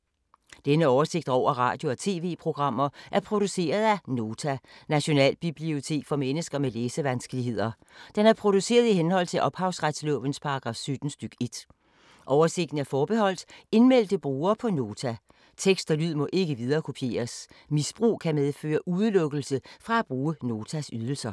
Denne oversigt over radio og TV-programmer er produceret af Nota, Nationalbibliotek for mennesker med læsevanskeligheder. Den er produceret i henhold til ophavsretslovens paragraf 17 stk. 1. Oversigten er forbeholdt indmeldte brugere på Nota. Tekst og lyd må ikke viderekopieres. Misbrug kan medføre udelukkelse fra at bruge Notas ydelser.